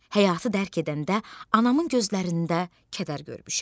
Həyatı dərk edəndə anamın gözlərində kədər görmüşəm.